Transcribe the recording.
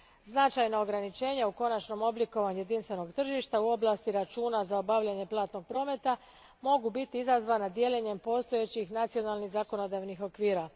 Značajna ograničenja u konačnom oblikovanju jedinstvenog tržišta u oblasti računa za obavljanje platnog prometa mogu biti izazvana dijeljenjem postojećih nacionalnih zakonodavnih okvira.